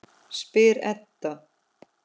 spyr Edda.